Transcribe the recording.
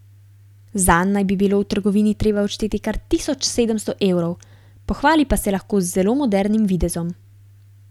Zanj naj bi bilo v trgovini treba odšteti kar tisoč sedemsto evrov, pohvali pa se lahko z zelo modernim videzom.